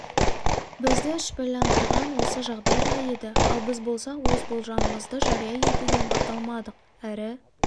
бізді шүбәландырған осы жағдай да еді ал біз болсақ өз болжамымызды жария етуге бата алмадық әрі